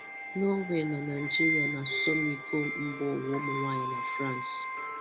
Norway na Naịjirịa n'asọmi iko mbaụwa ụmụnwaanyị na France